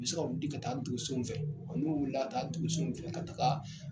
U be se ka u di ka taa donsonw fɛ. O kɔ n'u wulilaa taa donsonw fɛ ka taga